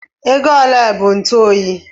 Ego ole bụ ntụ oyi?